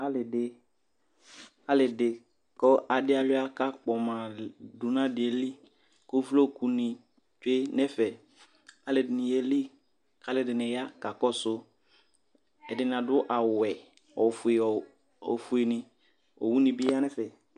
ali di kò adi aluia k'akpɔma li do n'aliɛ li kò uvloku ni tsue n'ɛfɛ aloɛdini yeli k'aloɛdini ya kakɔsu ɛdini ado awu wɛ ofue ni owu ni bi ya n'ɛfɛ